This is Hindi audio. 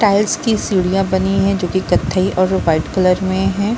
टाइल्स की सीढियाँ बनी है जो कि कत्थई और वाइट कलर में हैं ।